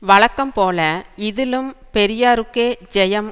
வழக்கம் போல இதிலும் பெரியாருக்கே ஜெயம்